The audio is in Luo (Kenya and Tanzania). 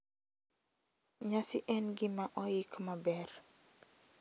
Nyasi en gima oik maber,